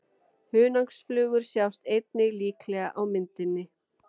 Hunangsflugur sjást einnig líklega á myndinni.